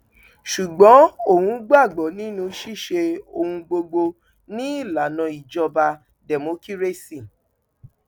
ṣùgbọn òun gbàgbọ nínú ṣíṣe ohun gbogbo ni ìlànà ìjọba dẹmọkírésì